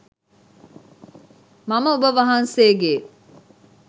මම ඔබ වහන්සේගේ